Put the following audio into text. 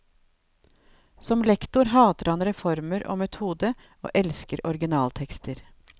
Som lektor hater han reformer og metode og elsker originaltekster.